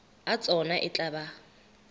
a tsona e tla ba